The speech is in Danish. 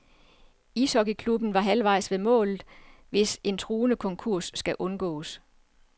Ishockeyklubben er halvvejs ved målet, hvis en truende konkurs skal undgås.